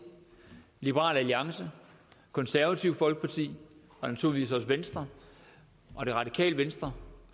liberal alliance konservative folkeparti og naturligvis også venstre og det radikale venstre